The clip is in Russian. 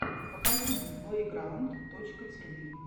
покажи мне плэйграунд точка тиви